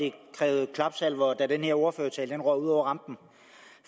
det krævede klapsalver da den her ordførertale røg ud over rampen